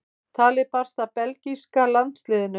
Talið barst að belgíska landsliðinu.